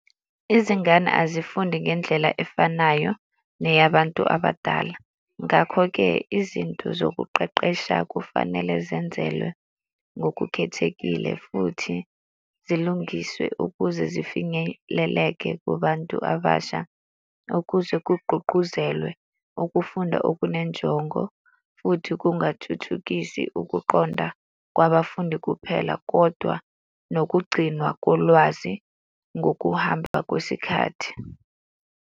Izingane azifundi ngendlela efanayo neyabantu abadala. Ngakho-ke izinto zokuqeqesha kufanele zenzelwe ngokukhethekile futhi zilungiswe ukuze zifinyeleleke kubantu abasha, ukuze kugqugquzelwe ukufunda okunenjongo, futhi kungathuthukisi ukuqonda kwabafundi kuphela kodwa nokugcinwa kolwazi ngokuhamba kwesikhathi.